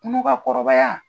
Kɔnɔ ka kɔrɔbaya.